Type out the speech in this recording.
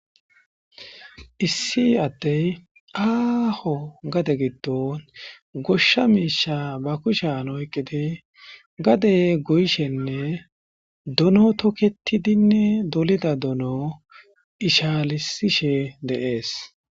Issi ade aho gade gidon gosha misha ba kushen oyikidi gade goyishenne dono toketidinne dolida dono ishalisishe de'ees